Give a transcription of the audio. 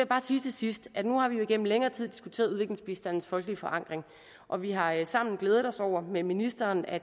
bare sige til sidst at nu har vi jo igennem længere tid diskuteret udviklingsbistandens folkelige forankring og vi har sammen glædet os over med ministeren at